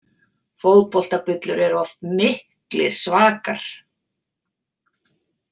Fótboltabullur eru oft miklir svakar.